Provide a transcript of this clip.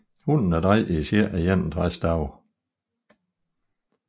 Hunnen er drægtig i cirka 61 dage